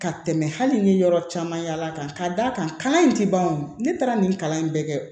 Ka tɛmɛ hali ni yɔrɔ caman yala ka da kan in ti ban o ne taara nin kalan in bɛɛ kɛ